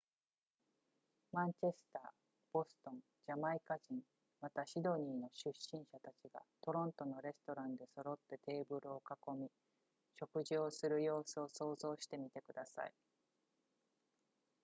マンチェスターボストンジャマイカ人またシドニーの出身者たちがトロントのレストランで揃ってテーブルを囲み食事をする様子を想像してみてください